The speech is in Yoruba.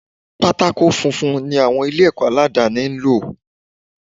Pátákó funfun ni àwọn ilé ẹ̀kọ́ aládàni ń lò.